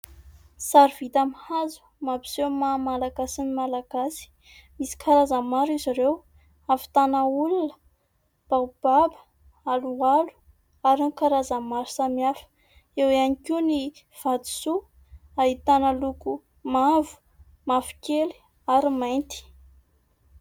Sary vita amin'ny hazo mampiseho ny maha malagasy ny Malagasy. Misy karazany maro izy ireo : ahavitana olona, baobab, aloalo ary ny karazany maro samihafa. Eo ihany koa ny vatosoa ahitana loko mavo, mavokely ary ny mainty.